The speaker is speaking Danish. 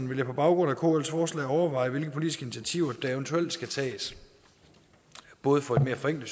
vil jeg på baggrund af kls forslag overveje hvilke politiske initiativer der eventuelt skal tages både for at få et mere